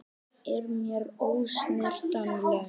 Er mér ósnertanleg.